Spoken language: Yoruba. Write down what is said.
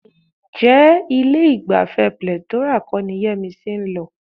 Ǹjẹ́ ilé-ìgbafẹ́ Plethora kọ́ ni Yẹ́misí ń lọ?